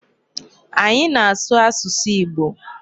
Anyị na-asụ asụsụ Igbo.